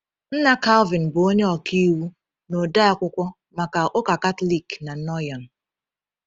Nna Calvin bụ onye ọka iwu na odeakwụkwọ maka ụka Katọlik na Noyon.